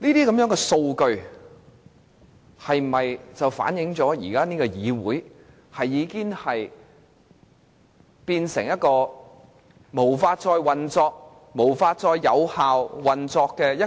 這些數據能否反映出現時的議會已無法運作、無法有效運作呢？